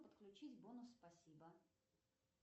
отключить бонус спасибо